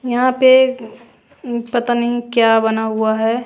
यहां पे पता नहीं क्या बना हुआ है।